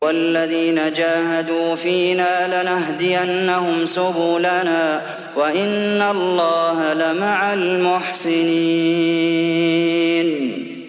وَالَّذِينَ جَاهَدُوا فِينَا لَنَهْدِيَنَّهُمْ سُبُلَنَا ۚ وَإِنَّ اللَّهَ لَمَعَ الْمُحْسِنِينَ